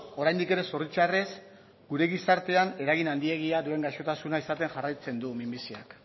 oraindik ere zoritxarrez gure gizartean eragin handiegia duen gaixotasuna izaten jarraitzen du minbiziak